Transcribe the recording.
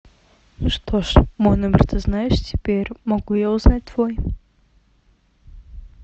что же мой номер ты знаешь теперь могу я узнать твой